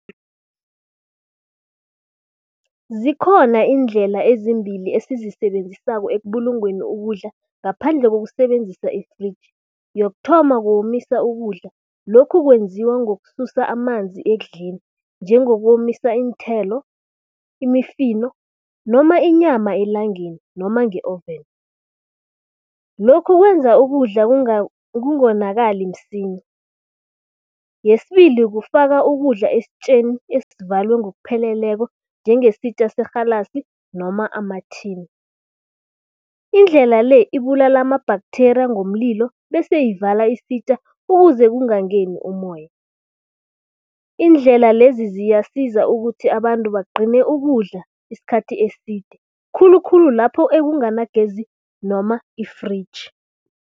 Zikhona iindlela ezimbili esizisebenzisako ekubulungeni ukudla, ngaphandle kokusebenzisa i-fridge. Yokuthoma, kukomisa ukudla, lokhu kwenziwa ngokususa amanzi ekudleni. Njengokomisa iinthelo, imifino noma inyama elangeni noma nge-oven. Lokhu kwenza ukudla kungonakali msinya. Yesibili, kufaka ukudla esitjeni esivalwe ngokupheleleko, njengesitja serhalasi noma ama-tin. Indlela le, ibulala ama-bacteria ngomlilo bese ivala isitja ukuze kungangeni umoya. Iindlela lezi, ziyayisiza ukuthi abantu bagcine ukudla iskhathi eside, khulukhulu lapho ekunganagezi noma i-fridge.